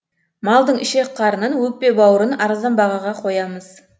малдың ішек қарнын өкпе бауырын арзан бағаға қоямыз